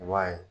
I b'a ye